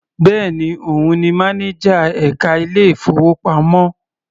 Bẹ́ẹ̀ni, òun ni mánájà ẹka ilé ìfowópamọ́.